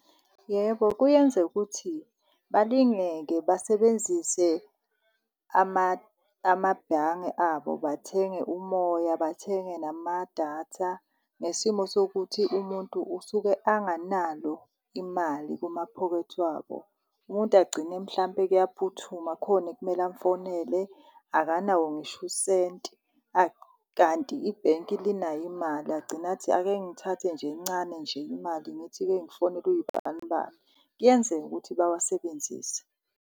Yebo, kuyenzeka ukuthi balingeke basebenzise amabhange abo bathenge umoya, bathenge namadatha ngesimo sokuthi umuntu usuke anganalo imali kumaphokethi wabo. Umuntu agcine mhlawumbe kuyaphuthuma khona ekumele amfonele akanawo ngisho usenti kanti ibhenki linayo imali, agcine athi ake ngithathe nje encane nje imali ngithi-ke ngifonele uwuyibanibani. Kuyenzeka ukuthi bawasebenzise.